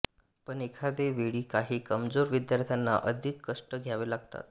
पण एखादे वेळी काही कमजोर विद्यार्थ्यांना अधिक कष्ट घ्यावे लागतात